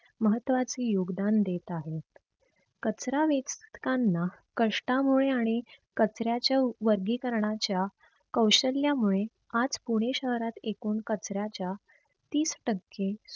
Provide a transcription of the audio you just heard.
महत्वाचे योगदान देत आहेत. कचरा वेचकांना कष्टामुळे आणि कचऱ्याच्या वर्गीकरणाच्या कैशल्यामुळे आज पुणे शहरात एकूण कचऱ्याच्या तीस टक्के